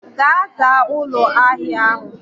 Gaa zaa ulo ahia ahu